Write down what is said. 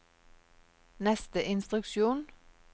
neste instruksjon